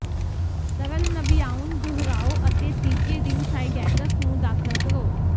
ਤਰਲ ਨਵਿਆਉਣ ਦੁਹਰਾਓ ਅਤੇ ਤੀਜੇ ਦਿਨ ਸਾਈਡੈਕਸ ਨੂੰ ਦਾਖਲ ਕਰੋ